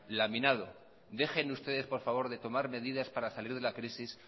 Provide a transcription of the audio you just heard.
laminado dejen ustedes por favor de tomar medidas para salir de la crisis